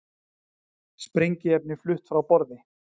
Sprengiefni flutt frá borði